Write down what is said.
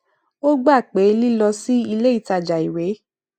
ó gbà pé lílọ sí ilé ìtajà ìwé